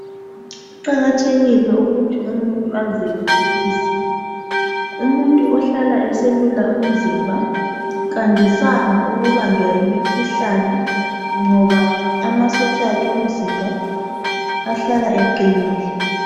Kuqakathekile ukuthi umuntu azelule umzimba , umuntu ohlala eselula umzimba kandisanga ukubanjwa yimikhuhlane ngoba amasotsha akhe omzimba ahlala eqinile .